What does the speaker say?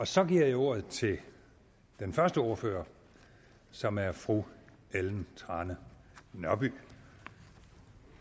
så giver jeg ordet til den første ordfører som er fru ellen trane nørby